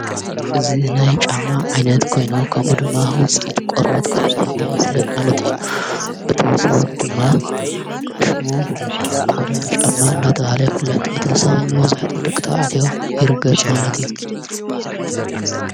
እዙ ናይ ጫማ ዓይነት ኮይኑ ኸምኡ ድማ ውፂት ቖርበት ከም ዘኾነ ይፍለጥ ማለት እዩ ብተወሰዊ ድማ ሽሙ ቆዳ ጫማ እናተ ሃለ ይፍለጥ ብተወሳዊ መወዙሕቱ ድቕተውዓትዮ ይርገጽ ማለት እዩ።